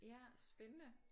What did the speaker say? Ja spændende